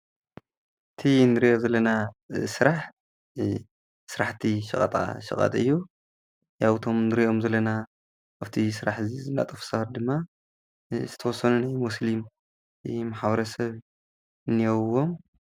እቲ ንርእዮ ዘለና ስራሕ ስራሕቲ ሸቐጣ ሸቐጥ እዩ ያው እቶም ንሪኦም ዘለና ኣፍቲ ስራሕ እዚ ዝነጥፉ ሰባት ድማ ዝተወሰኑ ናይ ሙስሊም ማሕብረሰብ እነየውዎም